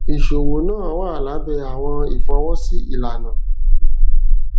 iṣowo naa wa labẹ awọn ifọwọsi ilana